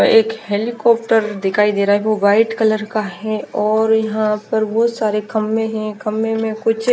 एक हेलीकाप्टर दिखाई दे रहा है वो वाइट कलर का है और यहाँ पर बहोत सारे खम्बे है खम्बे में कुछ--